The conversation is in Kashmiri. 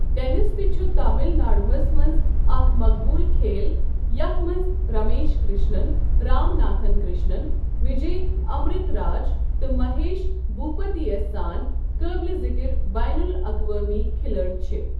ٹیٚنِس تہِ چُھ تامِل ناڈوٗ ہس منٛز اَکھ مقبوٗل کھیل یَتھ منٛز رَمیش کِرٛشنَن، رام ناتھن کِرٛشنَن، وِجے امرِت راج تہٕ مَہیش بھوٗپَتی یس سان قٲبلہِ ذِکِر بین الاقوٲمی کِھلٲڑۍ چھِ ۔